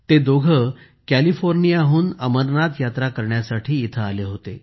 ते दोघे कॅलिफोर्नियाहून अमरनाथ यात्रा करण्यासाठी इथे आले होते